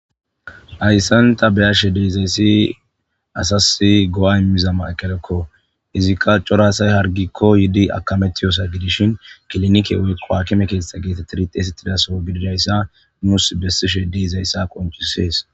Hayssan tani be'ashshe deizayssi asas go'a immiza mayikellekko izzika cora asay harggikko yiidi akamettiyossa giddishin kilinike woykko hakime keththta gettetidi xeyssetizaso giddidayssa nusi besishe deizayssa qonccisses.